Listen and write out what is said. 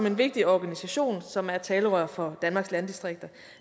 en vigtig organisation som er talerør for danmarks landdistrikter